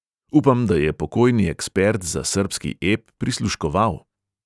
Upam, da je pokojni ekspert za srbski ep prisluškoval.